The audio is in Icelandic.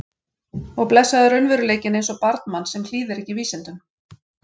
Og blessaður raunveruleikinn eins og barn manns sem hlýðir ekki vísindum.